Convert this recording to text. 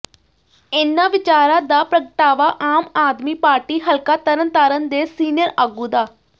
ਇੰਨ੍ਹਾਂ ਵਿਚਾਰਾਂ ਦਾ ਪ੍ਰਗਟਾਵਾ ਆਮ ਆਦਮੀ ਪਾਰਟੀ ਹਲਕਾ ਤਰਨਤਾਰਨ ਦੇ ਸੀਨੀਅਰ ਆਗੂ ਡਾ